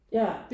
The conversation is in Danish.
Ja